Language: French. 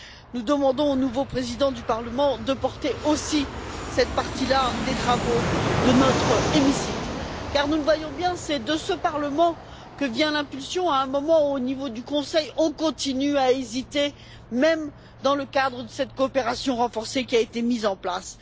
Nous demandons au nouveau président du Parlement de porter aussi cette partie là des travaux de notre hémicycle car, nous le voyons bien, c'est de ce Parlement que vient l'impulsion à un moment où, au niveau du Conseil, on continue à hésiter même dans le cadre de la coopération renforcée mise en place.